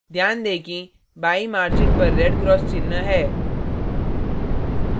ध्यान दें कि बाईं margin पर red cross चिह्न है